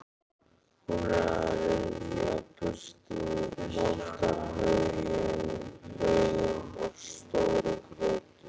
Hún er að ryðja burtu moldarhaugum og stóru grjóti.